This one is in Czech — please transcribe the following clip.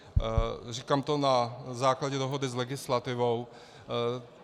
Říkám to na základě dohody s legislativou.